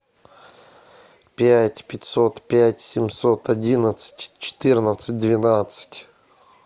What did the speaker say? пять пятьсот пять семьсот одиннадцать четырнадцать двенадцать